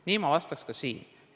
Nii ma vastaks ka siin.